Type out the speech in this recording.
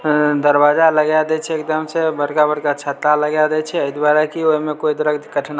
दरवाजा लगा दे छै एकदम से बड़का-बड़का छाता लगा दे छै ए द्वारा की ओय मे कोय तरह के कठिनाई --